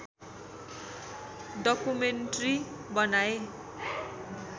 documentary बनाए